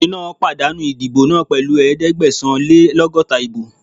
Ọkùnrin náà pàdánù ìdìbò náà pẹ̀lú ẹ̀ẹ́dẹ́gbẹ̀sán-lé-lọ́gọ́ta ìbò